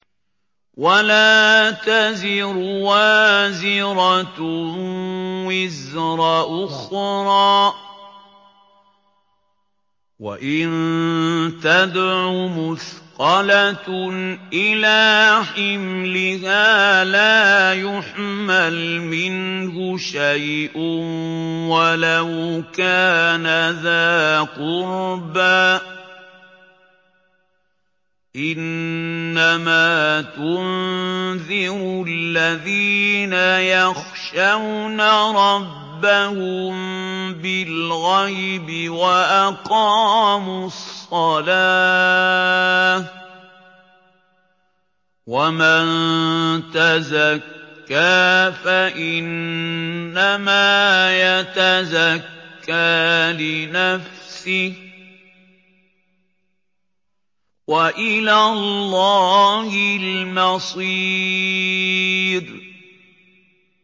وَلَا تَزِرُ وَازِرَةٌ وِزْرَ أُخْرَىٰ ۚ وَإِن تَدْعُ مُثْقَلَةٌ إِلَىٰ حِمْلِهَا لَا يُحْمَلْ مِنْهُ شَيْءٌ وَلَوْ كَانَ ذَا قُرْبَىٰ ۗ إِنَّمَا تُنذِرُ الَّذِينَ يَخْشَوْنَ رَبَّهُم بِالْغَيْبِ وَأَقَامُوا الصَّلَاةَ ۚ وَمَن تَزَكَّىٰ فَإِنَّمَا يَتَزَكَّىٰ لِنَفْسِهِ ۚ وَإِلَى اللَّهِ الْمَصِيرُ